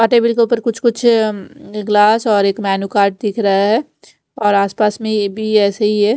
कुछ कुछ गिलास और एक मेन्यु कार्ड दिख रहा है और आस पास में ये भी ऐसा ही है।